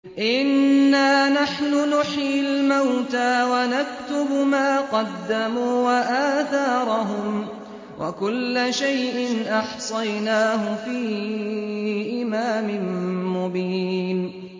إِنَّا نَحْنُ نُحْيِي الْمَوْتَىٰ وَنَكْتُبُ مَا قَدَّمُوا وَآثَارَهُمْ ۚ وَكُلَّ شَيْءٍ أَحْصَيْنَاهُ فِي إِمَامٍ مُّبِينٍ